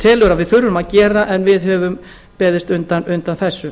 telur að við þurfum að gera en við höfum beðist undan þessu